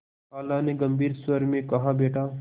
खाला ने गम्भीर स्वर में कहाबेटा